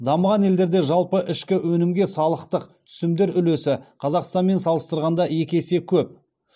дамыған елдерде жалпы ішкі өңімге салықтық түсімдер үлесі қазақстанмен салыстырғанда екі есе көп